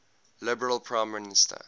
liberal prime minister